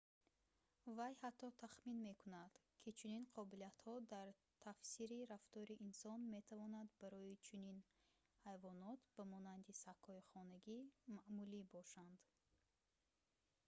вай ҳатто тахмин мекунад ки чунин қобилиятҳо дар тафсири рафтори инсон метавонанд барои чунин ҳайвонот ба монанди сагҳои хонагӣ маъмулӣ бошанд